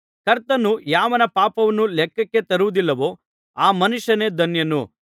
ಕರ್ತನು ಯಾವನ ಪಾಪವನ್ನು ಲೆಕ್ಕಕ್ಕೆ ತರುವುದಿಲ್ಲವೋ ಆ ಮನುಷ್ಯನೇ ಧನ್ಯನು